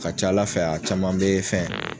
A ka ca Ala fɛ a caman be fɛn